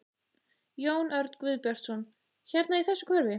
Jón Örn Guðbjartsson: Hérna í þessu hverfi?